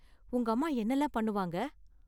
உங்க அம்மா என்னலாம் பண்ணுவாங்க?